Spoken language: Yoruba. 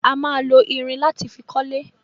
A ma lo irin láti fi kọ́lé